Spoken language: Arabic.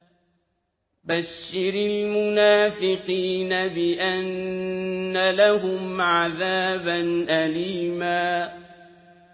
بَشِّرِ الْمُنَافِقِينَ بِأَنَّ لَهُمْ عَذَابًا أَلِيمًا